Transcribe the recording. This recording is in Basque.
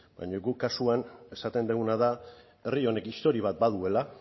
baina guk kasuan esaten duguna da herri honek historia bat baduela